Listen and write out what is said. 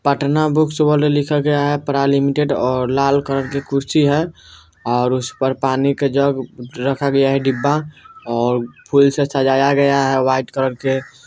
Patna books world लिखा गया है प्रा. लिमिटेड और लाल कलर की कुर्सी है और उस पर पानी का जग अ रखा गया है डिब्बा और फूल से सजाया गया है वाइट कलर के --